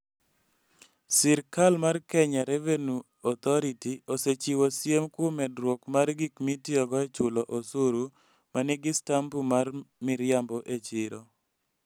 Sirkal mar Kenya Revenue Authority (KRA) osechiwo siem kuom medruok mar gik mitiyogo e chulo osuru ma nigi stampu mag miriambo e chiro.